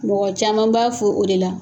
Mɔgɔ caman b'a fɔ o de la